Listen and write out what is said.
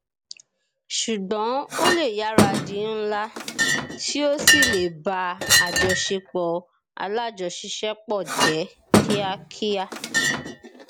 ṣùgbón ó lè yára di ńlá tí ó sì lè bá àjọṣepọ alájọṣiṣẹpọ jẹ kíá kíá